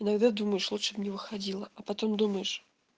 иногда думаешь лучше б не выходила а потом думаешь